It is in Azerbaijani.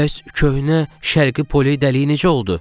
Bəs köhnə Şərqi Poli dəliyi necə oldu?